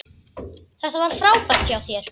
Þetta var frábært hjá þér!